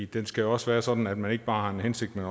det skal også være sådan at man ikke bare har en hensigt men